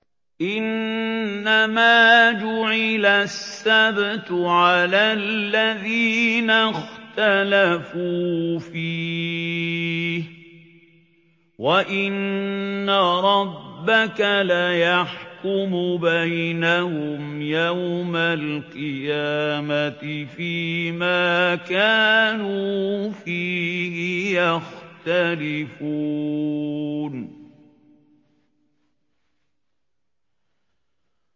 إِنَّمَا جُعِلَ السَّبْتُ عَلَى الَّذِينَ اخْتَلَفُوا فِيهِ ۚ وَإِنَّ رَبَّكَ لَيَحْكُمُ بَيْنَهُمْ يَوْمَ الْقِيَامَةِ فِيمَا كَانُوا فِيهِ يَخْتَلِفُونَ